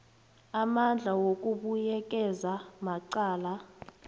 amandla wokubuyekeza amacala